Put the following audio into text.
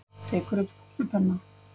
Tekur upp kúlupenna.